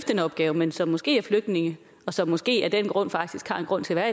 den opgave men som måske er flygtninge og som måske af den grund faktisk har en grund til at